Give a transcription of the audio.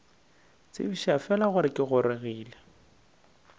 tsebiša fela gore ke gorogile